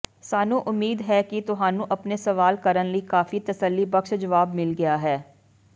ਸਾਨੂੰ ਉਮੀਦ ਹੈ ਕਿ ਤੁਹਾਨੂੰ ਆਪਣੇ ਸਵਾਲ ਕਰਨ ਲਈ ਕਾਫ਼ੀ ਤਸੱਲੀਬਖਸ਼ ਜਵਾਬ ਮਿਲ ਗਿਆ ਹੈ